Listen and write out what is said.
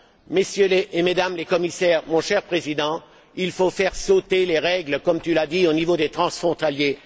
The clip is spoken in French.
Mesdames et Messieurs les commissaires, mon cher Président, il faut faire sauter les règles, comme tu l'as dit, au niveau des transfrontaliers.